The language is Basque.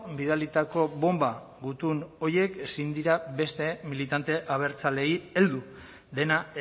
bidalitako bonba gutun horiek ezin dira beste militante abertzaleei heldu dena